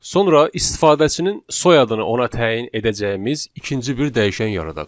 Sonra istifadəçinin soyadını ona təyin edəcəyimiz ikinci bir dəyişən yaradaq.